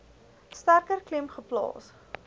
sterker klem geplaas